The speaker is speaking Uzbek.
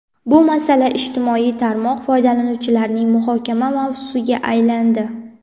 bu masala ijtimoiy tarmoq foydalanuvchilarining muhokama mavzusiga aylandi.